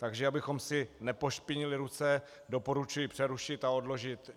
Takže abychom si nepošpinili ruce, doporučuji přerušit a odložit.